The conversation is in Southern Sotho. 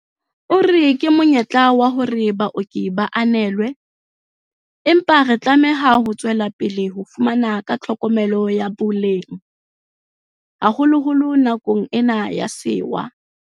O re, ke monyetla wa hore baoki ba ananelwe, empa re tlameha ho tswelapele ho fana ka tlhokomelo ya boleng, haholoholo nakong ena ya sewa.